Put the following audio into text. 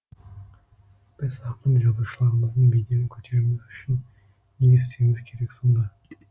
біз ақын жазушыларымыздың беделін көтеруіміз үшін не істеуіміз керек сонда